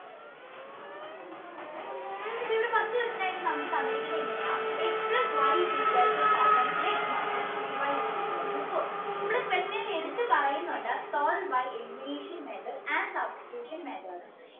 അപ്പൊ ഇവിടെ first question ആയിട്ട് തന്നിട്ടുള്ളത് ഇങ്ങനെയാ x plus y is equal to mainas five mainase three y is equal to four ഇവിടെ question എടുത്ത് പറയുന്നുണ്ട് solve by elimination method and substitution method